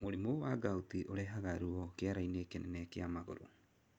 Mũrimũ wa gout ũrehaga ruo kĩarainĩ kĩnene kĩa magũrũ.